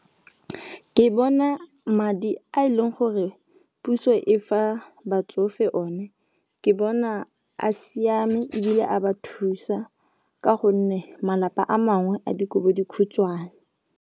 Ke bona madi a e leng gore puso e fa batsofe one, ke bona a siame ebile a ba thusa ka gonne malapa a mangwe a dikobodikhutshwane.